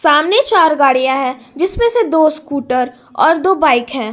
सामने चार गाड़ियां है जिसमें से दो स्कूटर और दो बाइक है।